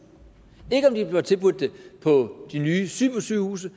og ikke om de bliver tilbudt det på de nye supersygehuse